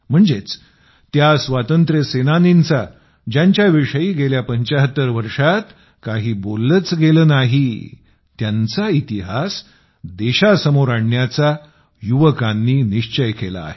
म्हणजेच त्या स्वातंत्र्य सेनानींचा ज्यांच्या विषयी गेल्या 75 वर्षात काही बोललेच गेले नाही त्यांचा इतिहास देशासमोर आणण्याचा युवकांनी निश्चय केला आहे